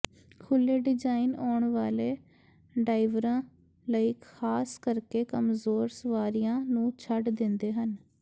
ਖੁੱਲ੍ਹੇ ਡਿਜਾਈਨ ਆਉਣ ਵਾਲੇ ਡਾਇਵਰਾਂ ਲਈ ਖਾਸ ਕਰਕੇ ਕਮਜ਼ੋਰ ਸਵਾਰੀਆਂ ਨੂੰ ਛੱਡ ਦਿੰਦੇ ਹਨ